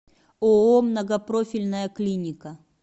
ооо многопрофильная клиника